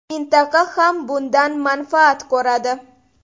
Mintaqa ham bundan manfaat ko‘radi.